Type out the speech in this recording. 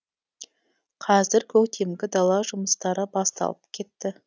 қазір көктемгі дала жұмыстары басталып кетті